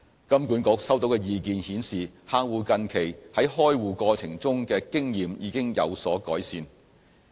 金管局收到的意見顯示客戶近期在開戶過程中的經驗已經有所改善。